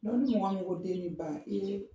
ni mɔgɔ min ko den ni ba e